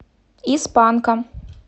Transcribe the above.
из панка